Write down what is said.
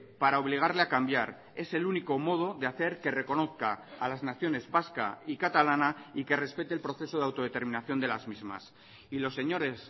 para obligarle a cambiar es el único modo de hacer que reconozca a las naciones vasca y catalana y que respete el proceso de autodeterminación de las mismas y los señores